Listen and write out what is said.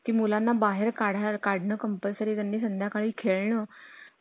चालतंय चालतंय काय अडचण नाही.